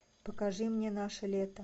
покажи мне наше лето